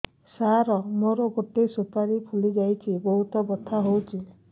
ସାର ମୋର ଗୋଟେ ସୁପାରୀ ଫୁଲିଯାଇଛି ବହୁତ ବଥା ହଉଛି